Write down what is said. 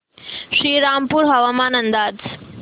श्रीरामपूर हवामान अंदाज